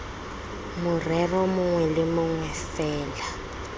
morero mongwe le mongwe fela